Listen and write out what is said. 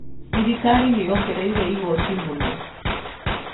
Thirikari nĩyongereire igoti mũno